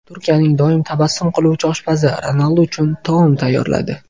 Turkiyaning doim tabassum qiluvchi oshpazi Ronaldu uchun taom tayyorladi.